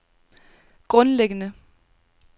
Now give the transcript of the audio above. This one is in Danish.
grundlæggende